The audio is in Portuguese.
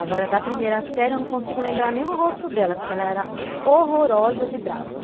Agora, da primeira série, eu não consigo lembrar nem o rosto dela, porque ela era horrorosa de brava.